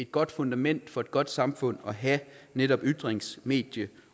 godt fundament for et godt samfund at have netop ytrings medie